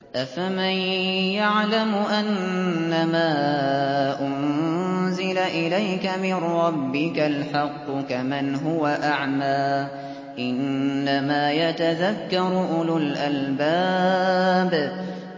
۞ أَفَمَن يَعْلَمُ أَنَّمَا أُنزِلَ إِلَيْكَ مِن رَّبِّكَ الْحَقُّ كَمَنْ هُوَ أَعْمَىٰ ۚ إِنَّمَا يَتَذَكَّرُ أُولُو الْأَلْبَابِ